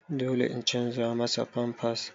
Eh dole in canza masa pampers.